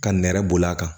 Ka nɛrɛ b'a kan